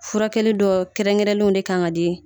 Furakɛli dɔ kɛrɛnkɛrɛnlenw ne kan ka di